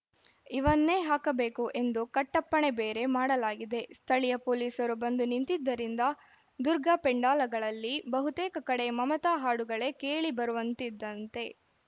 ಇವನ್ನೇ ಹಾಕಬೇಕು ಎಂದು ಕಟ್ಟಪ್ಪಣೆ ಬೇರೆ ಮಾಡಲಾಗಿದೆ ಸ್ಥಳೀಯ ಪೊಲೀಸರು ಬಂದು ನಿಂತಿದ್ದರಿಂದ ದುರ್ಗಾ ಪೆಂಡೋಲಗಳಲ್ಲಿ ಬಹುತೇಕ ಕಡೆ ಮಮತಾ ಹಾಡುಗಳೇ ಕೇಳಿ ಬರುವಂತಿದಂತೆ